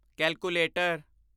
calculator